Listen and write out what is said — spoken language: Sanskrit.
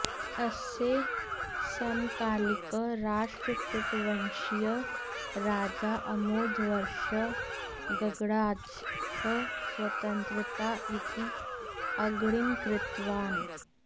अस्य समकालिकः राष्ट्रकूटवंशीयः राजा अमोधवर्षः गङ्गराजः स्वतन्त्राः इति अङ्गीकृतवान्